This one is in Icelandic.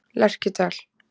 Lerkidal